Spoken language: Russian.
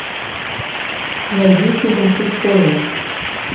найди фильм путь воина